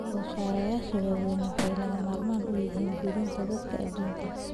Soosaarayaasha waaweyni waxay lagama maarmaan u yihiin quudinta dadka adduunka.